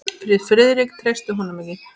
Því Friðrik treysti honum ekki.